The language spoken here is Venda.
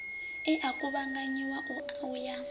e a kuvhanganyiwa u ya